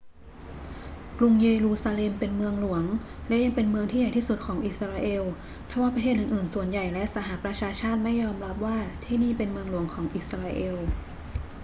กรุงเยรูซาเล็มเป็นเมืองหลวง และยังเป็นเมืองที่ใหญ่ที่สุดของอิสราเอล ทว่าประเทศอื่น ๆ ส่วนใหญ่และสหประชาชาติไม่ยอมรับว่าที่นี่เป็นเมืองหลวงของอิสราเอล